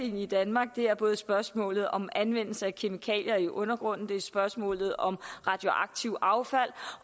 i danmark der er både spørgsmålet om anvendelse af kemikalier i undergrunden der er spørgsmålet om radioaktivt affald